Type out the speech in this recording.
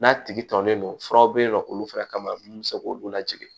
N'a tigi tɔlen don furaw bɛ yen nɔ k'olu fɛnɛ kama mun bɛ se k'olu lajigin